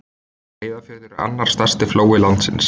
Breiðafjörður er annar stærsti flói landsins.